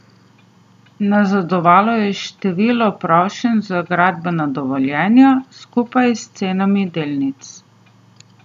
Nazadovalo je število prošenj za gradbena dovoljenja, skupaj s cenami delnic.